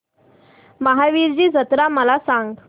महावीरजी जत्रा मला सांग